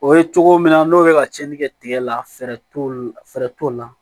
O ye cogo min na n'o bɛ ka cɛnni kɛ tigɛ la fɛɛrɛ t'o la fɛɛrɛ t'o la